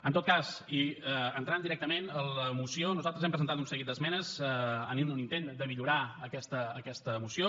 en tot cas i entrant directament en la moció nosaltres hem presentat un seguit d’esmenes en un intent de millorar aquesta moció